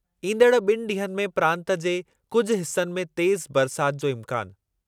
ईंदड़ु ॿिनि ॾींहनि में प्रांतु जे कुझु हिसनि में तेज़ु बरसाति जो इम्कानु।